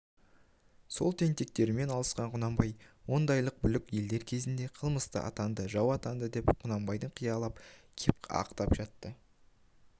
сол тентектермен алысқан құнанбай ондайлық бүлік елдер кезінде қылмысты атанды жау атанды деп құнанбайды қиялап кеп ақтап жатты